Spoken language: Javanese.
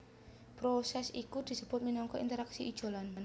Prosès iki disebut minangka interaksi ijolan